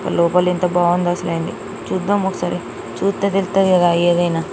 లోపల ఎంత బాగుందో అసలైనది చూద్దాం ఒకసారి. చూస్తే తెలుస్తది కదా ఏదైనా.